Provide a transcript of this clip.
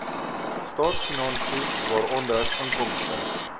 staatsfinansies waaronder inkomste